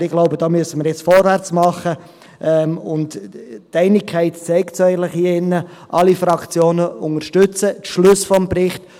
Aber ich glaube, da müssen wir jetzt vorwärtsmachen, und die Einigkeit hier im Saal zeigt es eigentlich: Alle Fraktionen unterstützen die Schlüsse des Berichts.